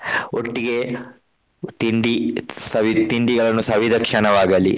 ಒಟ್ಟಿಗೆ ತಿಂಡಿ ಸವಿ ತಿಂಡಿಗಳನ್ನು ಸವಿದ ಕ್ಷಣವಾಗಲಿ.